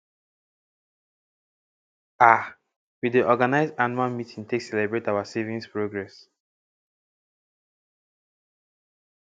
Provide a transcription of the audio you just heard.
um we dey organize anuual meeting take celebrate our saviings progress